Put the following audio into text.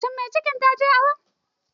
Shin mai cikin taje awo?